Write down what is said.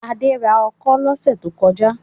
Adé ra ọkọ́ lọ́sẹ̀ tó kọjá?